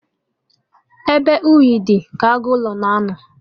Ebe ihe unyi dị, ka agụ ụlọ na-anọ